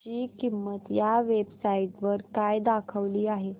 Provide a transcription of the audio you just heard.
ची किंमत या वेब साइट वर काय दाखवली आहे